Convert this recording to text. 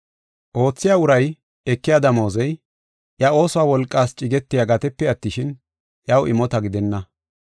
Oothiya uray ekiya damoozey, iya ooso wolqaas cigetiya gatepe attishin, iyaw imota gidenna.